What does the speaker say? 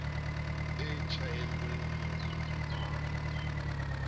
e tjhaelwe monwang ke ba